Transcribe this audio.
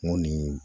N ko ni